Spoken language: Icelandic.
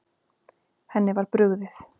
Henni var brugðið.